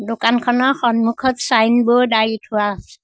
দোকানখনৰ সন্মুখত ছাইনবোৰ্ড আঁৰি থোৱা আছে।